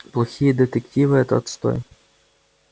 плохие детективы это отстой